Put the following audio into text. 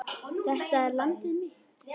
Þetta er landið mitt.